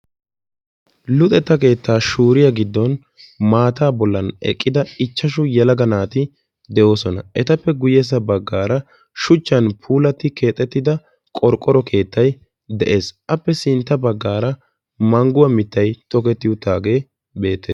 luxetta keettaa shuuriyaa gidon eqqida ichashshu yelaga naati de'ooosna. etappe guyyessa baggara shuchchan puulati keexxetida keettay de'ees. appe sintta baggaara mangguwa mittay beettees.